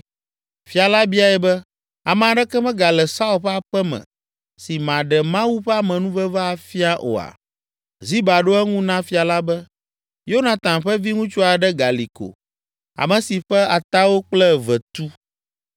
Fia la biae be “Ame aɖeke megale Saul ƒe aƒe me si maɖe Mawu ƒe amenuveve afia oa?” Ziba ɖo eŋu na fia la be, “Yonatan ƒe viŋutsu aɖe gali ko, ame si ƒe atawo kple eve tu.”